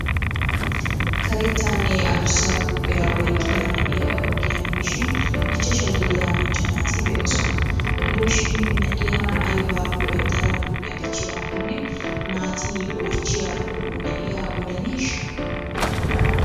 Karettanne adussa huuphiya oyqqida na'iya ogiyan biishin ichchashaa gidiya macca naati be'oosona. Gidoshin na'iya aybaa go'ettara huuphiya dichchiraakkonne naati oychchiyakko na'iya odaneeshsha?